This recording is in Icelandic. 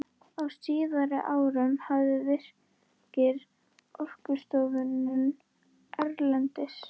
Á síðari árum hafa Virkir, Orkustofnun erlendis